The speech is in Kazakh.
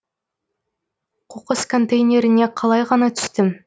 қоқыс контейнеріне қалай ғана түстім